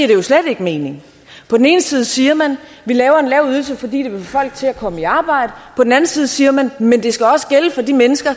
jo slet ikke mening på den ene side siger man vi laver en lav ydelse fordi det vil få folk til at komme i arbejde på den anden side siger man men det skal også gælde for de mennesker